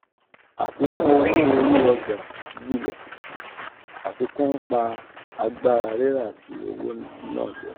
afikun owo ori ọjà gbile; afikun npa agbara rira ti owo naa jẹ.